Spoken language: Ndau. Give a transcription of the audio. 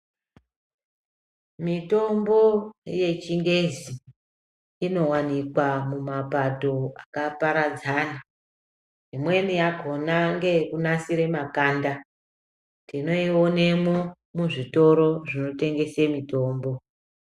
Mitombo yechingezi, inowanikwa mumapato akaparadzana. Imweni yakhona ngeyekunasire makanda. Tinoionemwo, muzvitoro zvinotengese mitombo.